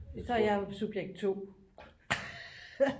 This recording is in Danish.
Så er jeg jo subjekt 2